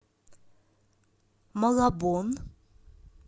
малабон